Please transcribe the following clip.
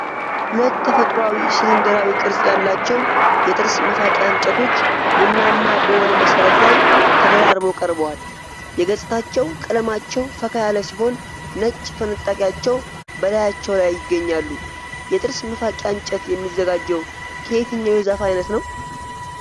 ሁለት ተፈጥሯዊ፣ ሲሊንደራዊ ቅርጽ ያላቸው የጥርስ መፋቂያ እንጨቶች ቡናማ በሆነ መሠረት ላይ ተደራርበው ቀርበዋል። የገጽታቸው ቀለማቸው ፈካ ያለ ሲሆን፣ ነጭ ፍንጣቂዎች በላያቸው ላይ ይገኛሉ። የጥርስ መፋቂያ እንጨት የሚዘጋጀው ከየትኛው የዛፍ አይነት ነው?